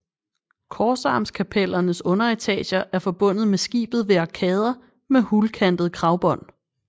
Korsarmskapellernes underetager er forbundet med skibet ved arkader med hulkantede kragbånd